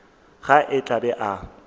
ge a tla be a